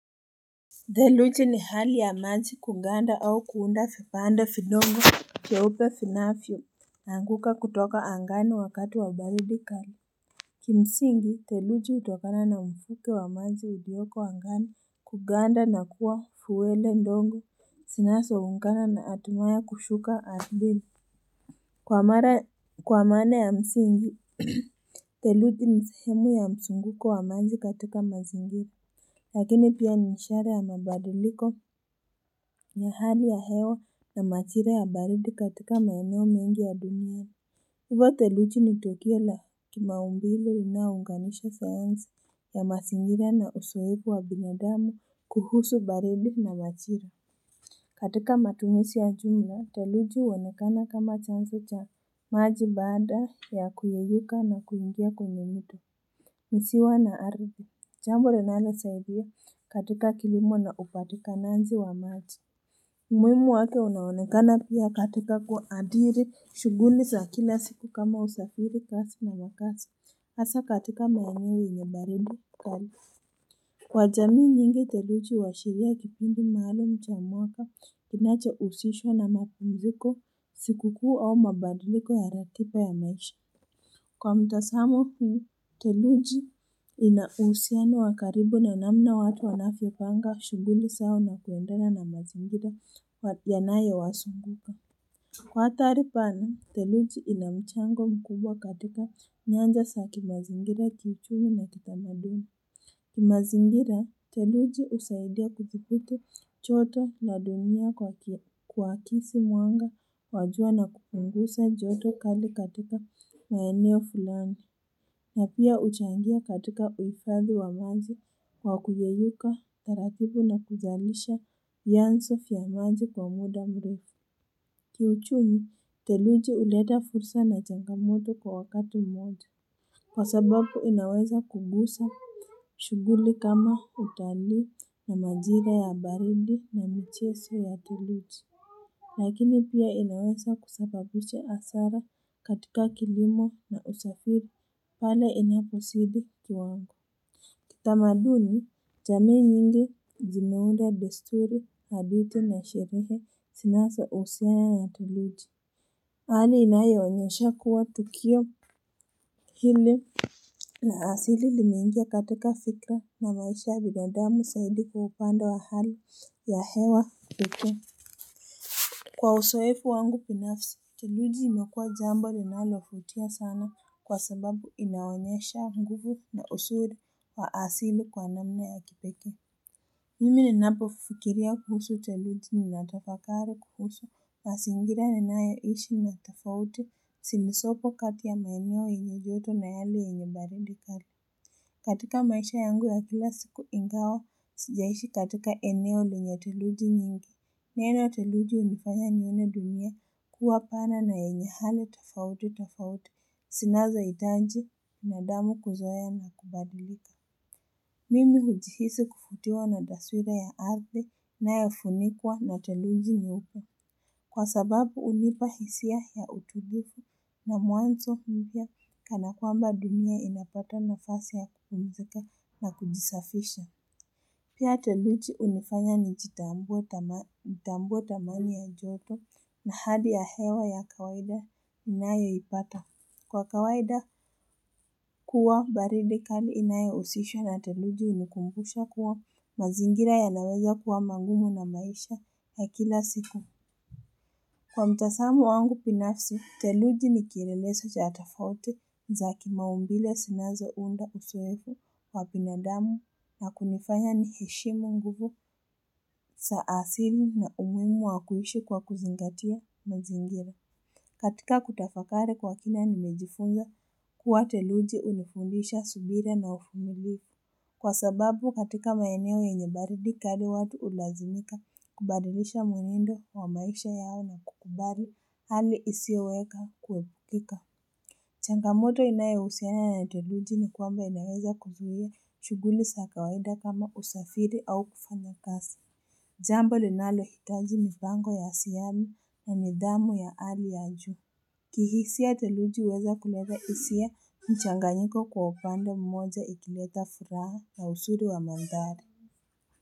Theluji ni hali ya maji kuganda au kuunda vipande vidogo vyeupe vinanavyoanguka kutoka angani wakati wa baridi kali Kimsingi theluji hutokana na mvuke wa maji ulioko angani kuganda na kuwa fuwele ndogo zinazoungana na hatimaye kushuka ardhini kwa maana ya msingi theluji ni sehemu ya mzunguko wa maji katika mazingira lakini pia ni ishara ya mabadiliko ya hali ya hewa na majira ya baridi katika maeneo mengi ya dunia Hivo theluji ni tukio la kimaumbile linayounganisha sayansi ya mazingira na uzoevu wa binadamu kuhusu baridi na majira katika matumizi ya jumla theluji huonekana kama chanzo cha maji baada ya kuyeyuka na kuingia kwenye mto ziwa na ardhi jambo linalosaidia katika kilimo na upatikanaji wa maji umuhimu wake unaonekana pia katika kuadhiri shughuli za kila siku kama usafiri kazi na makaazi hasa katika maeneo yenye baridi kali kwa jamii nyingi theluji huashiria kipindi maalum cha mwaka kinachohusishwa na mapumziko siku kuu au mabadiliko ya ratiba ya maisha kwa mtazamo huu theluji ina uhusiano wa karibu na namna watu wanavyopanga shughuli zao na kuendana na mazingira yanayowazunguka kwa ahari pana theluji ina mchango mkubwa katika nyanja za kimazingira kiuchumi na kitamaduni mazingira theluji husaidia kudhibiti joto na dunia kuakisi mwanga wa jua na kupunguza joto kali katika maeneo fulani na pia huchangia katika uhifadhi wa maji wa kuyeyuka taratibu na kuzalisha vyanzo vya maji kwa muda mrefu kiuchumi theluji huleta fursa na changamoto kwa wakati mmoja kwa sababu inaweza kugusa shughuli kama utalii na majira ya baridi na michezo ya theluji akini pia inaweza kusababisha hasara katika kilimo na usafiri pale inapozidi kiwango tamaduni jamii nyingi zimeunda desturi hadithi na sherehe zinazohusiana na theluji hali inayoonyesha kuwa tukio hili na asili limeingia katika fikra na maisha ya binadamu zaidi kwa upande wa hali ya hewa pekee kwa uzoefu wangu binafsi theluji imekuwa jambo linaluvutia sana kwa sababu inaonyesha nguvu na uzuri wa asili kwa namna ya kipekee Mimi ninapofikiria kuhusu theluji ninatafakari kuhusu mazingira ninayoishi na tofauti zilizopo kati ya maeneo yenye joto na yale yenye baridi kali katika maisha yangu ya kila siku ingawa sijaishi katika eneo lenye theluji nyingi neno theluji hunifanya nione dunia kuwa pana na yenye hali tofauti tofauti zinazohitaji na damu kuzoea na kubadilika mimi hujihisi kuvutiwa na taswira ya ardhi inayofunikwa na theluji nyeupe kwa sababu hunipa hisia ya utulivu na mwanzo mpya kana kwamba dunia inapata nafasi ya kupumzika na kujisafisha pia theluji hunifanya nitambuwe dhamani ya joto na hali ya hewa ya kawaida ninayoipata kwa kawaida kuwa baridi kali inayohusishwa na theluji hunikumbusha kuwa mazingira yanaweza kuwa magumu na maisha ya kila siku kwa mtazamo wangu binafsi theluji ni kielelezo cha tofauti za kimaumbile zinazounda uzoevu wa binadamu na kunifanya niheshimu nguvu za asili na umuhimu wa kuishi kwa kuzingatia mazingira katika kutafakari kwa kina nimejifunza kuwa theluji hunifundisha subira na uvumilivu kwa sababu katika maeneo yenye baridi kali watu hulazimika kubadilisha mwenendo wa maisha yao na kukubali hali isiyoweka kuepukika changamoto inayohusiana na theluji ni kwamba inaweza kuzuia shughuli za kawaida kama usafiri au kufanya kazi jambo linalohitaji mipango ya asiani na nidhamu ya hali ya juu kihisia theluji huweza kuleta hisia mchanganyiko kwa upande mmoja ikileta furaha ya uzuri wa maandhari.